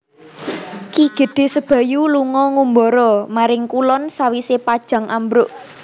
Ki Gedhé Sebayu lunga ngumbara maring kulon sawisé Pajang ambruk